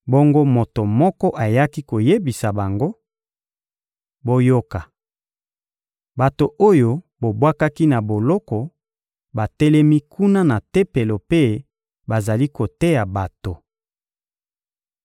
Bongo moto moko ayaki koyebisa bango: — Boyoka! Bato oyo bobwakaki na boloko, batelemi kuna na Tempelo mpe bazali koteya bato.